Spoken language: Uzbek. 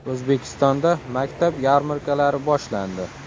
O‘zbekistonda maktab yarmarkalari boshlandi.